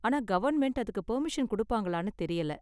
ஆனா கவர்ன்மெண்ட் அதுக்கு பர்மிஷன் கொடுப்பாங்களான்னு தெரியல.